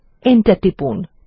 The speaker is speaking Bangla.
এন্টার টিপুন